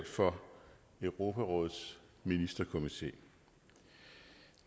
for europarådets ministerkomité